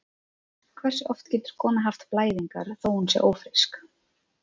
Hversu oft getur kona haft blæðingar þó að hún sé ófrísk?